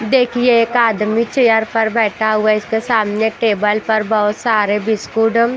देखिए एक आदमी चेयर पर बैठा हुआ है इसके सामने टेबल पर बहुत सारे बिसकुडल--